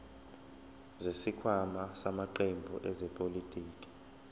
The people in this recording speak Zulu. zesikhwama samaqembu ezepolitiki